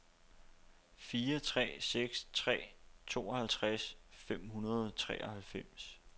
fire tre seks tre tooghalvtreds fem hundrede og treoghalvfems